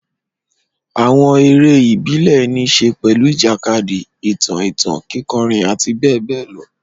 Àwọn eré ìbílẹ̀ ní í ṣe pẹ̀lú ìjàkadì, ìtàn ìtàn, kíkọrin, àti bẹ́ẹ̀ bẹ́ẹ̀ lọ.